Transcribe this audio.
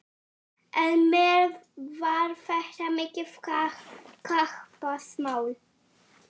En mér var þetta mikið kappsmál.